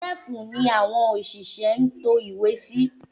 Sẹ́ẹ̀fù ni àwọn òṣìṣẹ́ ń to ìwé sí